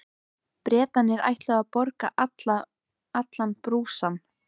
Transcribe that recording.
Bretarnir ætluðu að borga allan brúsann.